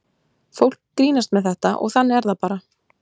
Fólk grínast með þetta og þannig er það bara.